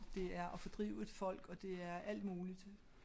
Det er at fordrive et folk og det er alt muligt